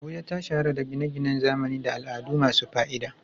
Abuja ta shahara da gine-ginen zamani da al'adu masu fa'ida.